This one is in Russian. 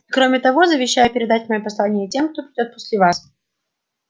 и кроме того завещаю передать моё послание тем кто придёт после вас